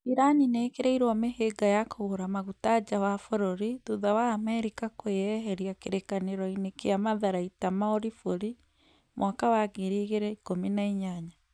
irani nĩ ĩkĩrĩirwo mĩhĩnga ya kũgũra maguta nja wa bũrũri thutha wa amerika kweyeheria kĩrĩkanĩroinĩ kĩa matharaita ma uribũri mwaka wa ngiri igĩrĩ ikũmi na inyanya